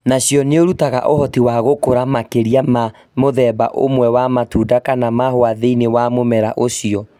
Nacio nĩirutaga ũhoti wa gũkũra makĩria ya mũthemba ũmwe wa matunda kana mahũa thĩinĩ wa mũmera ũcio